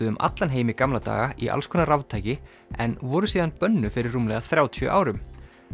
um allan heim í gamla daga í alls konar raftæki en voru síðan bönnuð fyrir rúmlega þrjátíu árum